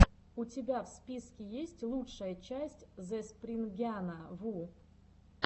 у тебя в списке есть лучшая часть зэспрингяна ву